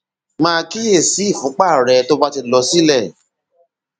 máa kíyè sí ìfúnpá rẹ tó bá ti lọ sílẹ